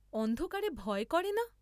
অন্ধকারে ভয় করে না!